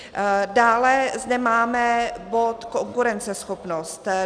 Dále zde máme bod konkurenceschopnost.